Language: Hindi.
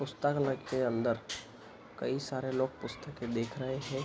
पुस्तकालय के अंदर कई सारे लोग पुस्तकें देख रहे हैं।